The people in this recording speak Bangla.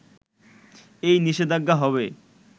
এই নিষেধাজ্ঞা হবে